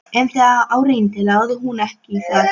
En þegar á reyndi lagði hún ekki í það.